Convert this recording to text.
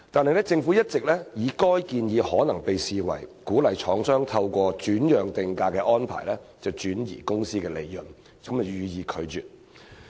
然而，政府一直以該建議可能被視為鼓勵廠商透過轉讓定價安排轉移公司利潤，予以拒絕。